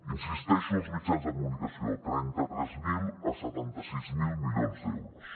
insisteixo als mitjans de comunicació trenta tres mil a setanta sis mil milions d’euros